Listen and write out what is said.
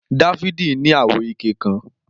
Dafidi ni awo ike kan.